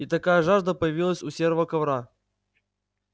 и такая жажда появилась у серого ковра